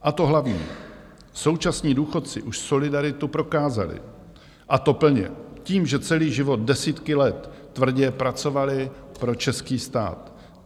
A to hlavní, současní důchodci už solidaritu prokázali, a to plně tím, že celý život, desítky let, tvrdě pracovali pro český stát.